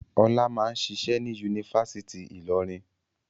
Ọlá máà ń ṣiṣẹ́ ní Yunifásítì Ìlọrin?